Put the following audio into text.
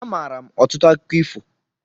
A maara m ọtụtụ akụkọ ifo